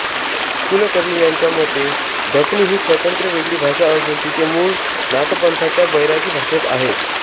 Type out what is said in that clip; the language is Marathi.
कुलकर्णी यांच्या मते दखनी ही स्वतंत्र वेगळी भाषा असून तिचे मूळ नाथपंथाच्या बैरागी भाषेत आहे